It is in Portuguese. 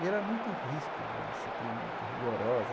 E ele era muito ríspido, uma disciplina muito rigorosa.